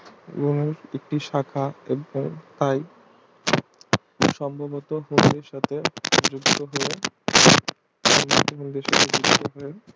উহার একটি শাখা পাই সম্ভবত হূনদের সাথে যুদ্ধ হয়ে